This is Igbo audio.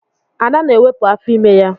Ada na-ewepụ afọ ime ya.